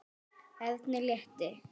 Erni létti.